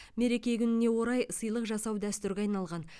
мереке күніне орай сыйлық жасау дәстүрге айналған